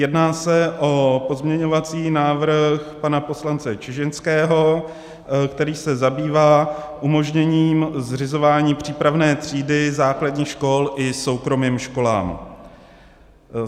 Jedná se o pozměňovací návrh pana poslance Čižinského, který se zabývá umožněním zřizování přípravné třídy základních škol i soukromým školám.